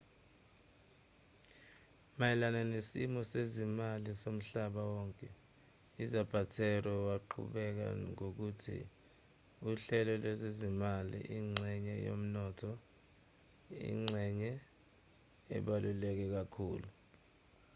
mayelana nesimo sezezimali somhlaba wonke uzapatero waqhubeka ngokuthi uhlelo lwezezimali ingxenye yomnotho ingxenye ebaluleke kakhulu